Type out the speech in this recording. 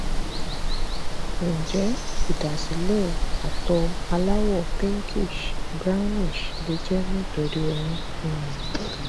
njẹ idasile àtọ alawo pinkish brownish le jẹ nitori oyun um